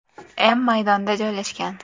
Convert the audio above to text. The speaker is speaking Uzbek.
m maydonda joylashgan.